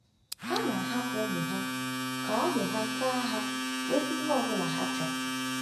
Ha na-ahapụ ụmụ ha ka ụmụ ha ka ha nweta ihe ọ bụla ha chọrọ.